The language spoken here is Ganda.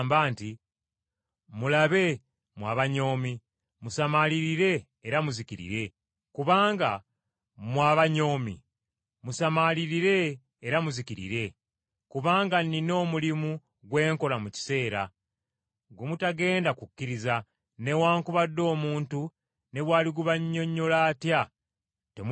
“ ‘Mulabe, mmwe abanyoomi, musamaalirire era muzikirire! Kubanga nnina omulimu gwe nkola mu kiseera, gwe mutagenda kukkiriza newaakubadde omuntu ne bw’aligubannyonnyola atya temuligukkiriza.’ ”